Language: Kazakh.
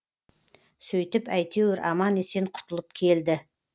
сөйтіп әйтеуір аман есен құтылып келді